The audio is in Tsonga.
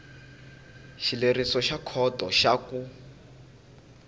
xileriso xa khoto xa ku